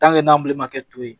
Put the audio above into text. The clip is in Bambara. n'an ma kɛ to ye